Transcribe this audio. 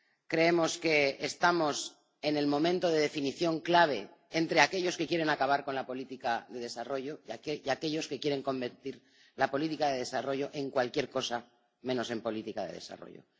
Creemos que estamos en el momento de definición clave entre aquellos que quieren acabar con la política de desarrollo y aquellos que quieren convertir la política de desarrollo en cualquier cosa menos en política de desarrollo.